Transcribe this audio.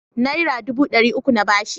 Naira dubu ɗari uku na ba shi.